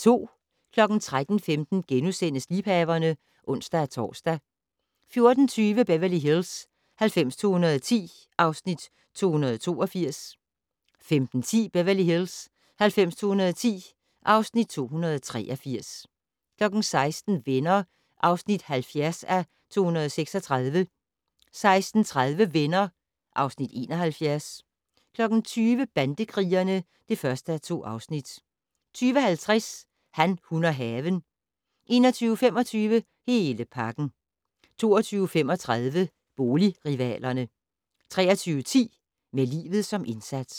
13:15: Liebhaverne *(ons-tor) 14:20: Beverly Hills 90210 (Afs. 282) 15:10: Beverly Hills 90210 (Afs. 283) 16:00: Venner (70:236) 16:30: Venner (Afs. 71) 20:00: Bandekrigerne (1:2) 20:50: Han, hun og haven 21:25: Hele pakken 22:35: Boligrivalerne 23:10: Med livet som indsats